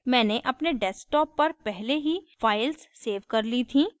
मैंने अपने desktop पर पहले ही files सेव कर ली थीं